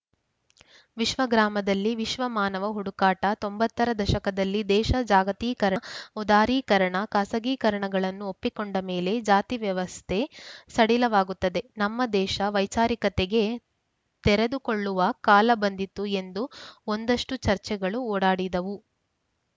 ವಿಶ್ವಗ್ರಾಮದಲ್ಲಿ ವಿಶ್ವಮಾನವನ ಹುಡುಕಾಟ ತೊಂಬತ್ತರ ದಶಕದಲ್ಲಿ ದೇಶ ಜಾಗತೀಕರಣ ಉದಾರೀಕರಣ ಖಾಸಗೀಕರಣಗಳನ್ನು ಒಪ್ಪಿಕೊಂಡ ಮೇಲೆ ಜಾತಿ ವ್ಯವಸ್ಥೆ ಸಡಿಲವಾಗುತ್ತೆ ನಮ್ಮ ದೇಶ ವೈಚಾರಿಕತೆಗೆ ತೆರೆದುಕೊಳ್ಳುವ ಕಾಲ ಬಂದಿತು ಎಂದು ಒಂದಷ್ಟುಚರ್ಚೆಗಳು ಓಡಾಡಿದವು